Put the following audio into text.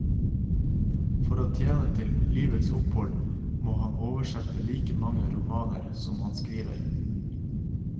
For å tjene til livets opphold må han oversette like mange romaner som han skriver.